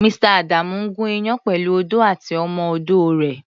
Mr.. Adamu ń gùn iyán pẹ̀lú odó àti ọmọ-odó rẹ̀.